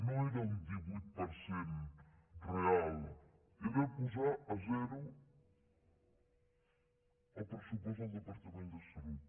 no era un divuit per cent real era posar a zero el pressupost del departament de salut